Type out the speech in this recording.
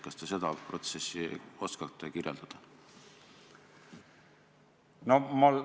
Kas te seda protsessi oskate kirjeldada?